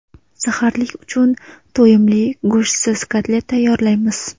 Saharlik uchun to‘yimli go‘shtsiz kotlet tayyorlaymiz.